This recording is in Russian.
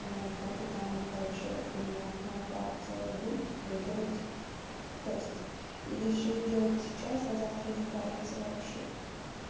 ноутбук и там короче у меня окно пар целая будет доделать тест или все сделать сейчас а завтра не париться вообще